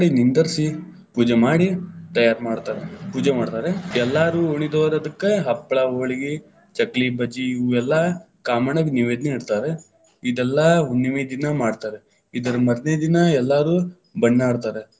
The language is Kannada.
ನಿಂದರಿಸಿ ಪೂಜೆ ಮಾಡಿ, ತಯಾರ ಮಾಡ್ತಾರ. ಪೂಜೆ ಮಾಡ್ತಾರ. ಎಲ್ಲಾರು ಉಳಿದೊರ ಅದಕ್ಕ ಹಪ್ಪಳ, ಹೋಳಗಿ, ಚಕ್ಕಲಿ, ಬಜಿ ಇವೆಲ್ಲಾ ಕಾಮಣ್ಣಗ ನೈವೇದ್ಯ ನಿಡ್ತಾರ. ಇದೆಲ್ಲಾ ಹುಣ್ಣಮೆ ದಿನಾ ಮಾಡ್ತಾರ. ಇದರ ಮರನೆದಿನಾ ಎಲ್ಲಾರು ಬಣ್ಣ ಆಡ್ತಾರ.